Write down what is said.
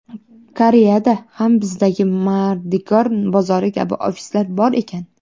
Koreyada ham bizdagi mardikor bozori kabi ofislar bor ekan.